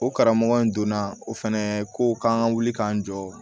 O karamɔgɔ in donna o fɛnɛ ko k'an ka wuli k'an jɔ